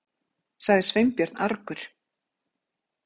sagði Sveinbjörn argur.